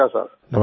नमस्कार सर